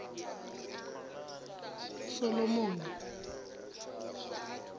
solomoni